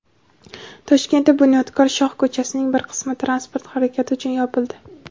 Toshkentda "Bunyodkor" shoh ko‘chasining bir qismi transport harakati uchun yopildi.